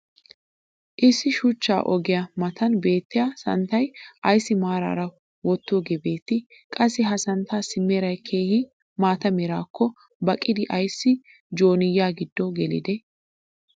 issi shuchcha ogiyaa matan beettiya santtay ayssi maarara wotoogee beettii? qassi ha santtaassi meray keehi maata meraakko baaqqidi ayssi jooniya giddo gelidee?